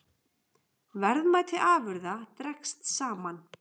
Verðmæti afurða dregst saman